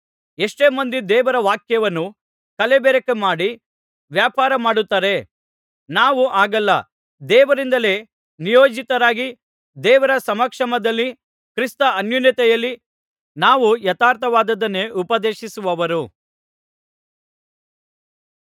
ಎಷ್ಟೋ ಮಂದಿ ದೇವರ ವಾಕ್ಯವನ್ನು ಕಲಬೆರಕೆ ಮಾಡಿ ವ್ಯಾಪಾರಮಾಡುತ್ತಾರೆ ನಾವು ಹಾಗಲ್ಲ ದೇವರಿಂದಲೇ ನಿಯೋಜಿತರಾಗಿ ದೇವರ ಸಮಕ್ಷಮದಲ್ಲಿ ಕ್ರಿಸ್ತ ಅನ್ಯೋನ್ಯತೆಯಲ್ಲಿ ನಾವು ಯಥಾರ್ಥವಾದುದನ್ನೇ ಉಪದೇಶಿಸುವವರು